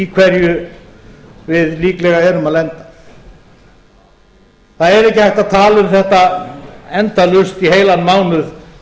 hverju við líklega erum að lenda það er ekki hægt að tala um þetta endalaust í heilan mánuð